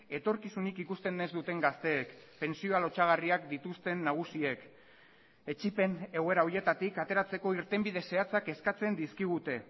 etorkizunik ikusten ez duten gazteek pentsioa lotsagarriak dituzten nagusiek etsipen egoera horietatik ateratzeko irtenbide zehatzak eskatzen dizkigute